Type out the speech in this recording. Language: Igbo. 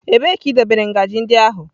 Ebee ka idobere ngaji ndị ahụ?